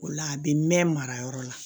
O la a bɛ mɛn mara yɔrɔ la